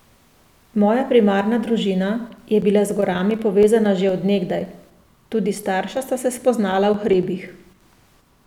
Moja primarna družina je bila z gorami povezana že od nekdaj, tudi starša sta se spoznala v hribih.